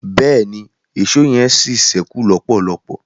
bẹẹni, Èṣó yen sí sẹku lọpọlọpọ